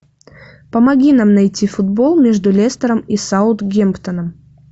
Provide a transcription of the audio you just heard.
помоги нам найти футбол между лестером и саутгемптоном